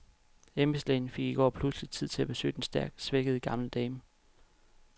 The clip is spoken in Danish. Embedslægen fik i går pludselig tid til at besøge den stærkt svækkede gamle dame.